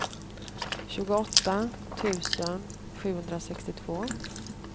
tjugoåtta tusen sjuhundrasextiotvå